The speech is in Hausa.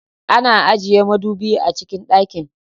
Ana ajiye madubi a cikin dakin.